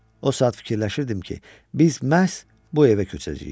O saat fikirləşirdim ki, biz məhz bu evə köçəcəyik.